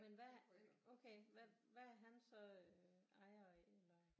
Men hvad okay hvad er han så ejer af eller